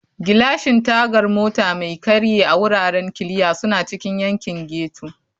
Gilashin Tagar Mota Mai Karye a Wuraren Kiliya suna cikin yankin ghetto.